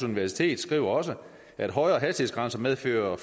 universitet skriver også at højere hastighed medfører